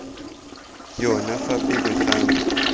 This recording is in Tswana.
yona fa pele ga me